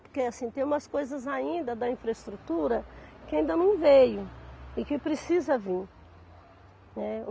Porque, assim, tem umas coisas ainda da infraestrutura que ainda não veio e que precisa vir, né.